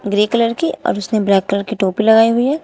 Grey colour की और उसने ब्लैक कलर की टोपी लगाई हुई है।